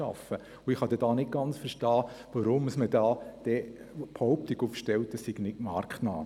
Da kann ich nicht verstehen, weshalb man die Behauptung aufstellt, dies sei nicht marktnah.